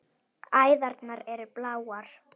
Æðarnar eru bláar.